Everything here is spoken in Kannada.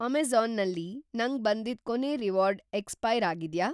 ಅಮೆಜಾ಼ನ್ ನಲ್ಲಿ ನಂಗ್‌ ಬಂದಿದ್‌ ಕೊನೇ ರಿವಾರ್ಡ್‌ ಎಕ್ಸ್‌ಪೈರ್‌ ಆಗಿದ್ಯಾ?